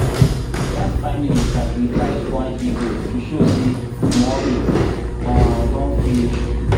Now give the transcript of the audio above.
that family sacrifice one he-goat to show say mourning um don finish.